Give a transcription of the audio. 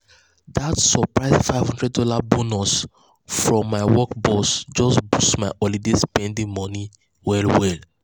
that surprise five hundred dollars bonus from my work boss just boost my holiday spending money well well.